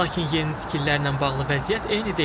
Lakin yeni tikililərlə bağlı vəziyyət eyni deyil.